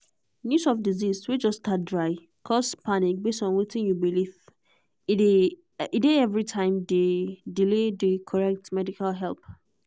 news of disease way just start dry cause panic base on wetin you believe e dey every time delay the correct medical help.